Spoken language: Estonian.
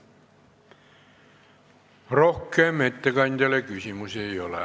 Rohkem ettekandjale küsimusi ei ole.